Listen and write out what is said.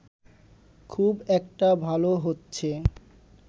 খুব একটা ভাল হচ্ছে